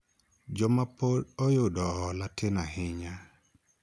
joma po oyudo hola tin ahinya